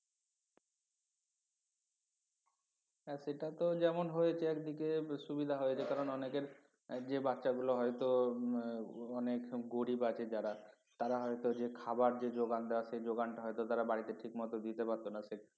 হ্যাঁ সেটা তো যেমন হয়েছে একদিকে সুবিধা হয়েছে কারণ অনেকের যে বাচ্চাগুলো হয়তো অনেক গরিব আছে যারা তারা হয়তো যে খাবার যে যোগান দেওয়া সেই যোগানটা হয়তো তারা বাড়িতে ঠিকমতো দিতে পারতো না